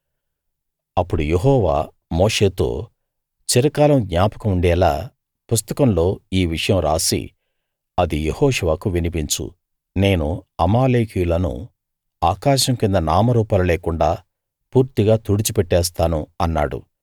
అప్పుడు యెహోవా మోషేతో చిరకాలం జ్ఞాపకం ఉండేలా పుస్తకంలో ఈ విషయం రాసి అది యెహోషువకు వినిపించు నేను అమాలేకీయులను ఆకాశం కింద నామరూపాలు లేకుండా పూర్తిగా తుడిచి పెట్టేస్తాను అన్నాడు